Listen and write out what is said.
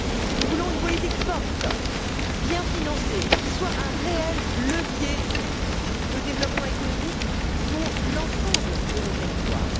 Nous voulons une politique forte, bien financée, qui soit un réel levier de développement économique pour l'ensemble de nos territoires.